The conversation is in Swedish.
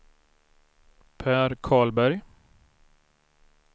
Pär Karlberg